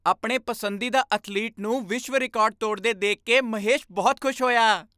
ਆਪਣੇ ਪਸੰਦੀਦਾ ਅਥਲੀਟ ਨੂੰ ਵਿਸ਼ਵ ਰਿਕਾਰਡ ਤੋੜਦੇ ਦੇਖ ਕੇ ਮਹੇਸ਼ ਬਹੁਤ ਖੁਸ਼ ਹੋਇਆ।